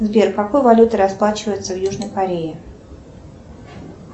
сбер какой валютой расплачиваются в южной корее